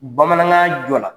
Bamanankan jɔ la